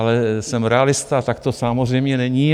Ale jsem realista, tak to samozřejmě není.